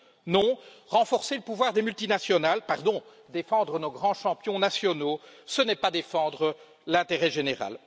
Non, renforcer le pouvoir des multinationales pardon, défendre nos grands champions nationaux ce n'est pas défendre l'intérêt général.